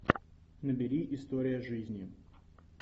набери история жизни